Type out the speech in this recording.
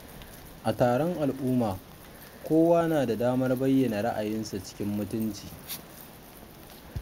A taron al'umma, kowa na da damar bayyana ra'ayinsa cikin mutunci.